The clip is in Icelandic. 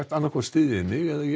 annaðhvort styðjið þig mig eða ég